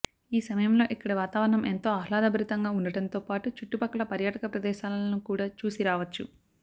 ఈ సమయంలో ఇక్కడి వాతావరణం ఎంతో ఆహ్లాదభరితంగా ఉండడంతో పాటు చుట్టుపక్కల పర్యాటక ప్రదేశాలను కూడా చూసి రావొచ్చు